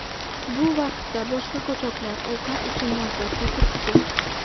Bu vaqtda boshqa qochoqlar ovqat uchun navbatda turibdi.